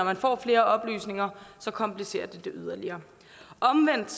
man får flere oplysninger komplicerer det det yderligere omvendt